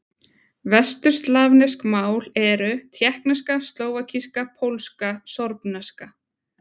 Vesturslavnesk mál eru: tékkneska, slóvakíska, pólska, sorbneska.